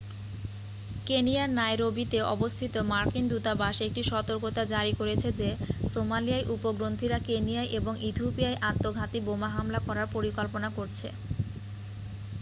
কেনিয়ার নাইরোবিতে অবস্থিত মার্কিন দূতাবাস একটি সতর্কতা জারি করেছে যে সোমালিয়ার উগ্রপন্থীরা কেনিয়া এবং ইথিওপিয়ায় আত্মঘাতী বোমা হামলা করার পরিকল্পনা করছে